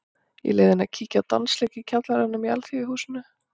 Ég leyfði henni að kíkja á dansleik í kjallaranum í Alþýðuhúsinu.